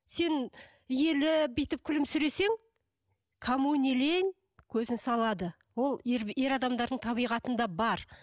сен иіліп бүйтіп күлімсіресең кому не лень көзін салады ол ер ер адамдардың табиғатында бар